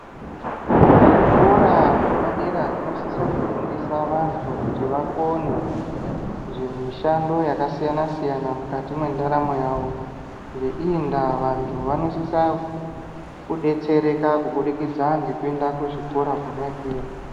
Zvikora zvepadera zvinosisa kufundisa vantu kuti vakone, zvimishando yakasiyana-siyana, mukati mendaramo yavo. Ngeiyi ndaa, vantu vanosisa kudetsereka kubudikidza ngekuenda kuzvikora kwona ikweyo.